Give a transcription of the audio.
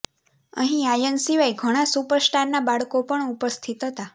અહીં આર્યન સિવાય ઘણા સુપર સ્ટાર ના બાળકો પણ ઉપસ્થિત હતા